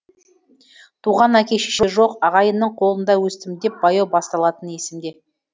туған әке шеше жоқ ағайынның қолында өстім деп баяу басталатыны есімде